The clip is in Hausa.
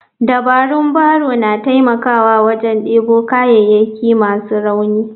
Dabarun barrow na taimakawa wajen debo kayayyaki masu rauni.